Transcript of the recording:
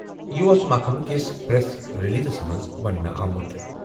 یہِ اوس محکمہٕ کِس پریس ریلیزَس منٛز ونٛنہٕ آمُت۔